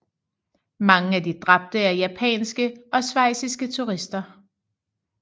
Mange af de dræbte er japanske og schweiziske turister